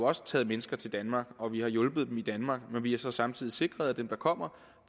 også taget mennesker til danmark og vi har hjulpet dem i danmark men vi har så samtidig sikret at dem der kommer